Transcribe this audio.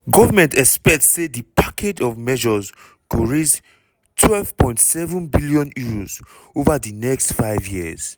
government expect say di package of measures go raise £12.7bn over di next five years.